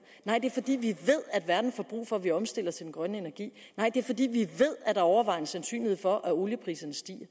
nej det er fordi vi ved at verden får brug for at vi omstiller til den grønne energi nej det er fordi vi ved at overvejende sandsynlighed for at oliepriserne stiger